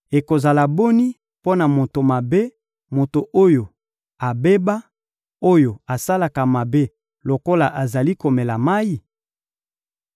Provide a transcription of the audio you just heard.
ekozala boni mpo na moto mabe, moto oyo abeba, oyo asalaka mabe lokola azali komela mayi?